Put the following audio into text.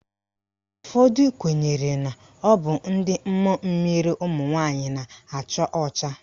Ụfọdụ kwenyere na ọ bụ ndị mmụọ mmiri ụmụnwaanyị na-acha ọcha.